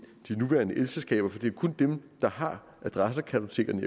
de nuværende elselskaber for det er kun dem der har adressekartotekerne